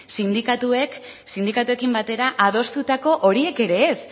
sindikatuekin batera adostutako horiek ere ez